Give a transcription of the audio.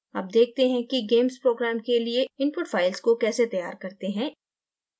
अब देखते हैं कि gamess programme के लिए input file को कैसे तैयार करते हैं